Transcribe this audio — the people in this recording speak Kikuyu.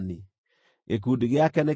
Gĩkundi gĩake nĩ kĩa andũ 53, 400.